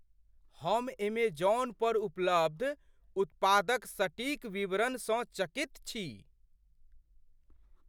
हम एमेजॉन पर उपलब्ध उत्पादक सटीक विवरणसँ चकित छी।